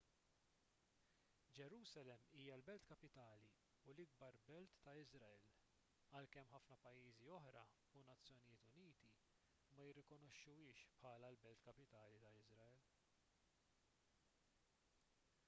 ġerusalemm hija l-belt kapitali u l-ikbar belt ta' iżrael għalkemm ħafna pajjiżi oħra u n-nazzjonijiet uniti ma jirrikonoxxuhiex bħala l-belt kapitali ta' iżrael